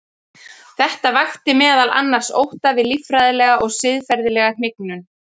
Þetta vakti meðal annars ótta við líffræðilega og siðferðilega hnignun.